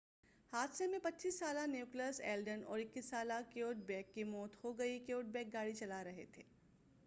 حادثہ میں 25 سالہ نیکولس ایلڈن اور 21 سالہ کیوڈ بیک کی موت ہوگئی کیوڈبیک گاڑی چلا رہے تھے